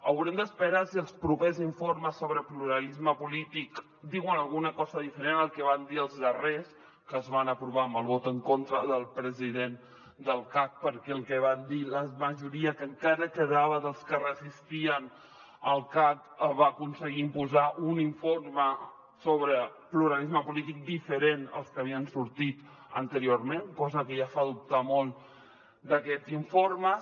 haurem d’esperar si els propers informes sobre pluralisme polític diuen alguna cosa diferent al que van dir els darrers que es van aprovar amb el vot en contra del president del cac perquè el que va dir la majoria que encara quedava dels que resistien al cac va aconseguir imposar un informe sobre pluralisme polític diferent als que havien sortit anteriorment cosa que ja fa dubtar molt d’aquests informes